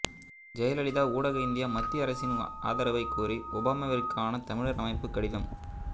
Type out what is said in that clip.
ஜெயலலிதா ஊடாக இந்திய மத்திய அரசின் ஆதரவைக் கோரி ஒபாமாவிற்கான தமிழர் அமைப்பு கடிதம்